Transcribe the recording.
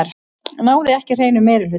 Náði ekki hreinum meirihluta